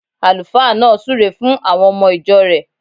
Àlùfáà náà súre fun àwon omo ìjo rẹ̀